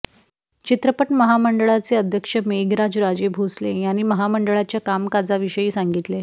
चित्रपट महामंडळाचे अध्यक्ष मेघराज राजे भोसले यांनी महामंडळाच्या काम काजा विषयी सांगितले